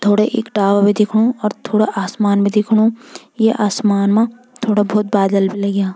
थोड़े इक टावर भी दिखणु और थोड़ा आसमान भी दिखणु ये आसमान मा थोड़ा भोत बादल भी लग्याँ।